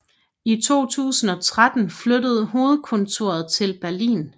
I 2013 flyttede hovedkontoret til Berlin